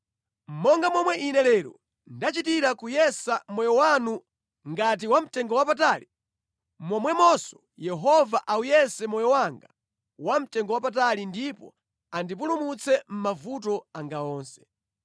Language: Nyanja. Monga momwe ine lero ndachitira kuwuyesa moyo wanu ngati wamtengowapatali, momwemonso Yehova awuyese moyo wanga wamtengowapatali ndipo andipulumutse mʼmavuto anga onse.”